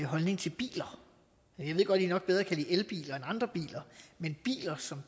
holdning til biler jeg ved godt at i nok bedre kan lide elbiler end andre biler men biler som